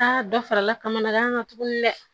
Aa dɔ farala kamanagan kan tugun dɛ